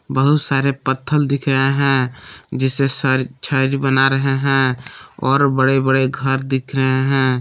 बहुत सारे पत्थर दिख रहे हैं जिसेसे छड़ बना रहे है और बड़े बड़े घर दिख रहे हैं।